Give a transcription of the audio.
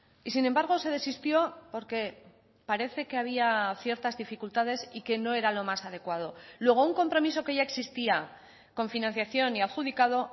y sin embargo se desistió porque parece que había ciertas dificultades y que no era lo más adecuado luego un compromiso que ya existía con financiación y adjudicado